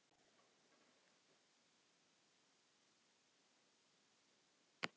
Jóra hjálpaði ömmu aftur upp í rúmið og gekk síðan yfir til Týra.